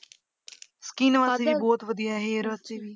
Skin ਬਹੁਤ ਵਧੀਆ hair ਵਾਸਤੇ ਵੀ